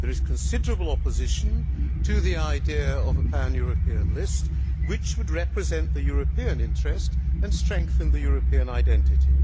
There is considerable opposition to the idea of a pan European list which would represent the European interest and strengthen the European identity.